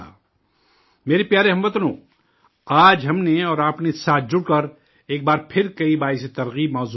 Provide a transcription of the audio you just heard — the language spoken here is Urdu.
میرے پیارے ہم وطنو، آج ہم نے اور آپ نے ساتھ جڑ کر ایک بار پھر کئی حوصلہ افزا موضوعات پر بات کی